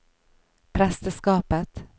presteskapet